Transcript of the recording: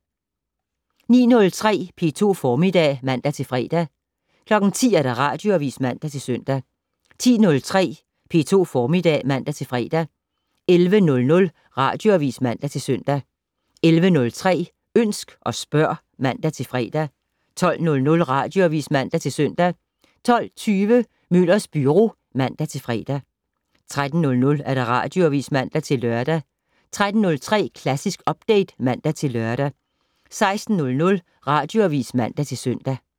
09:03: P2 Formiddag (man-fre) 10:00: Radioavis (man-søn) 10:03: P2 Formiddag (man-fre) 11:00: Radioavis (man-søn) 11:03: Ønsk og spørg (man-fre) 12:00: Radioavis (man-søn) 12:20: Møllers Byro (man-fre) 13:00: Radioavis (man-lør) 13:03: Klassisk Update (man-lør) 16:00: Radioavis (man-søn)